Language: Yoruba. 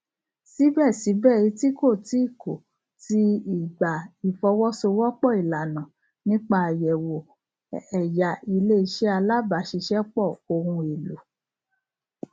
síbẹsíbẹ eti kò tí kò tí ì gba ìfọwọsowọpọ ìlànà nípa àyẹwò ẹyà iléiṣẹ alábàáṣiṣẹpọ ohun èlò